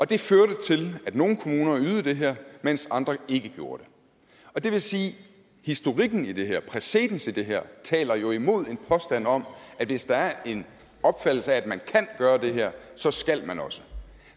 det førte til at nogle kommuner ydede det her mens andre ikke gjorde det og det vil sige at historikken i det her præcedens i det her jo taler imod en påstand om at hvis der er en opfattelse af at man kan gøre det her så skal man også